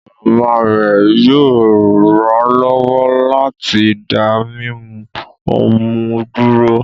Mama rẹ yoo ranlọwọ lati da mimu ọmú duro